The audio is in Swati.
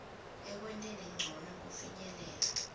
ekwenteni ncono kufinyelela